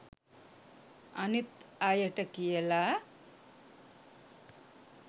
අනිත් අයට කියලා